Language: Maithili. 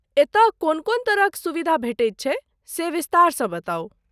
एतय कोन कोन तरहक सुविधा भेटैत छै, से विस्तारसँ बताउ।